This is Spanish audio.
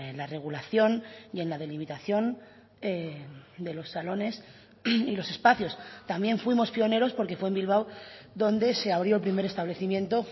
la regulación y en la delimitación de los salones y los espacios también fuimos pioneros porque fue en bilbao donde se abrió el primer establecimiento